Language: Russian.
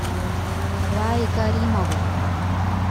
рае каримову